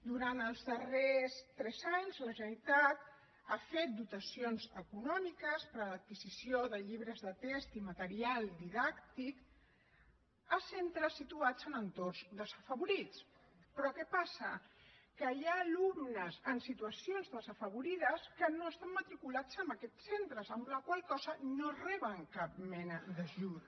durant els darrers tres anys la generalitat ha fet dotacions econòmiques per a l’adquisició de llibres de text i material didàctic a centres situats en entorns desafavorits però què passa que hi ha alumnes en situacions desafavorides que no estan matriculats en aquests centres amb la qual cosa no reben cap mena d’ajut